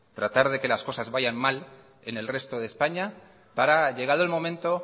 tratar de que las cosas vayan mal en el resto de españa para llegado el momento